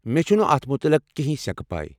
مےٚ چُھس نہٕ اتھ مُتعلق کِینٛہین سیٚكہٕ پَے۔